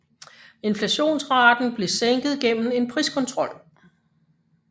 Inflationsraten blev sænket gennem en priskontrol